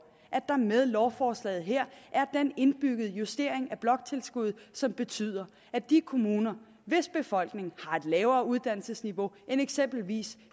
at der med lovforslaget her er den indbyggede justering af bloktilskuddet som betyder at de kommuner hvis befolkning har et lavere uddannelsesniveau end eksempelvis